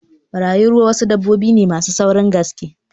Barayin ruwa dabbobi ne masu saurin gaske